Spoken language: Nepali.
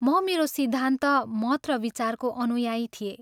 म मेरो सिद्धान्त, मत र विचारको अनुयायी थिएँ।